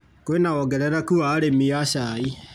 Kwĩna wongerereku wa arĩmi a cai.